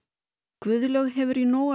Guðlaug hefur í nógu að